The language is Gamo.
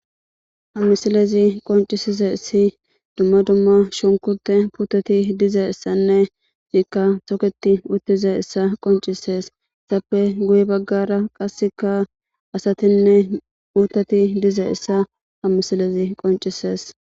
ha misilezi qoncisizissi dumma dumma shunkute puttati dizayissanne iziikka toketi uttizayissa qoncisees izppe guye baggara qasseka asatinne puttati dizayissa ha misilezi qoncisees